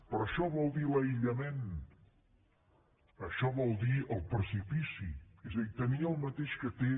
però això vol dir l’aïllament això vol dir el precipici és a dir tenir el mateix que té